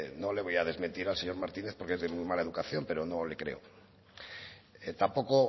no le voy a desmentir al señor martínez porque es de muy mala educación pero no le creo tampoco